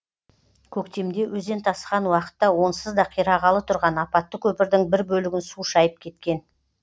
көктемде өзен тасыған уақытта онсыз да қирағалы тұрған апатты көпірдің бір бөлігін су шайып кеткен